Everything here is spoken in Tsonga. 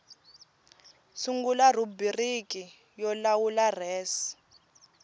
sungula rhubiriki yo lawula res